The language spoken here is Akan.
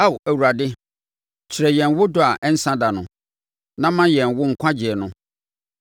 Ao Awurade, kyerɛ yɛn wo dɔ a ɛnsa da no, na ma yɛn wo nkwagyeɛ no.